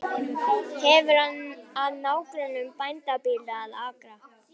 Hefur að nágrönnum bændabýli og akra.